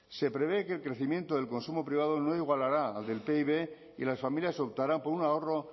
se prevé que el crecimiento del consumo privado no igualará al del pib y las familias optarán por un ahorro